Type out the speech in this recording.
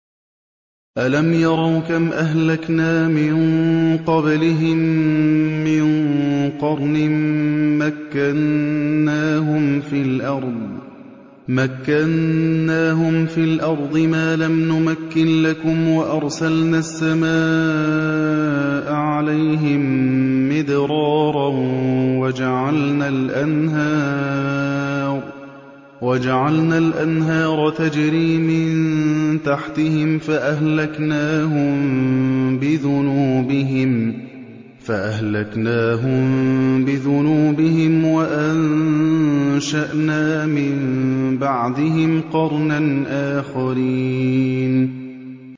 أَلَمْ يَرَوْا كَمْ أَهْلَكْنَا مِن قَبْلِهِم مِّن قَرْنٍ مَّكَّنَّاهُمْ فِي الْأَرْضِ مَا لَمْ نُمَكِّن لَّكُمْ وَأَرْسَلْنَا السَّمَاءَ عَلَيْهِم مِّدْرَارًا وَجَعَلْنَا الْأَنْهَارَ تَجْرِي مِن تَحْتِهِمْ فَأَهْلَكْنَاهُم بِذُنُوبِهِمْ وَأَنشَأْنَا مِن بَعْدِهِمْ قَرْنًا آخَرِينَ